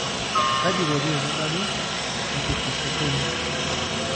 kaji eikoni tenebaki hypophosphatemia?